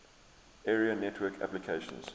area network applications